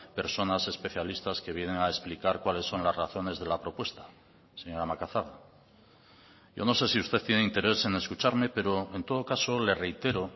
personas especialistas que vienen a explicar cuáles son las razones de la propuesta señora macazaga yo no sé si usted tiene interés en escucharme pero en todo caso le reitero